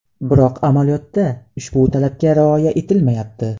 Biroq amaliyotda ushbu talabga rioya etilmayapti.